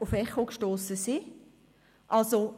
auf Echo gestossen sind.